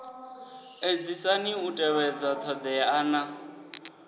edzisani u tevhedza thodea na